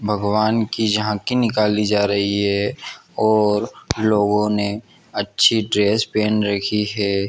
भगवान की झांकी निकाली जा रही हैं और लोगों ने अच्छे ड्रेस पहन रखी हैं।